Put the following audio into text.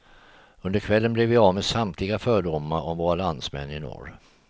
Under kvällen blir vi av med samtliga fördomar om våra landsmän i norr.